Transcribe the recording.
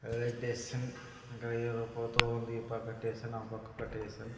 ఆ అక్కడ ఎవరో పోతూ ఉంది ఈ పక్కట్టేసాన్ ఆ పక్కొక్కటేసాన్.